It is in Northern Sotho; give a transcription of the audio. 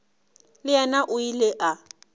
le yena o ile a